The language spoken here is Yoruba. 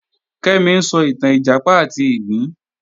Kẹ́mi ń sọ ìtàn Ìjàpá àti ìgbín